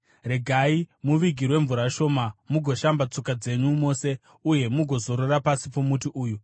Regai muvigirwe mvura shoma, mugoshamba tsoka dzenyu mose uye mugozorora pasi pomuti uyu.